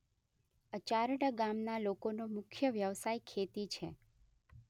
અચારડા ગામના લોકોનો મુખ્ય વ્યવસાય ખેતી છે.